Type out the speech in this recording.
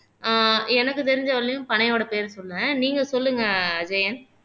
ஆஹ் எனக்கு தெரிஞ்ச வரையிலும் பனையோட பேர் சொன்னேன் நீங்க சொல்லுங்க அஜயன்